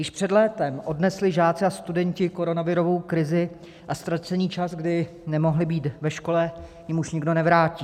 Již před létem odnesli žáci a studenti koronavirovou krizi a ztracený čas, kdy nemohli být ve škole, jim už nikdo nevrátí.